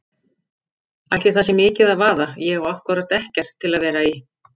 Ætli það sé mikið að vaða, ég á ákkúrat ekkert til að vera í.